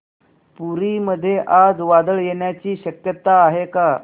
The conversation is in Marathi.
पुरी मध्ये आज वादळ येण्याची शक्यता आहे का